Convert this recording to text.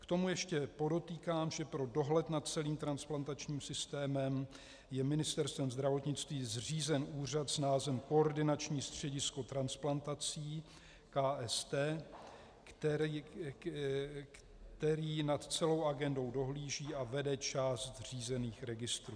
K tomu ještě podotýkám, že pro dohled nad celým transplantačním systémem je Ministerstvem zdravotnictví zřízen úřad s názvem Koordinační středisko transplantací, KST, který nad celou agendou dohlíží a vede část zřízených registrů.